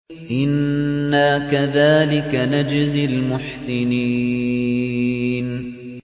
إِنَّا كَذَٰلِكَ نَجْزِي الْمُحْسِنِينَ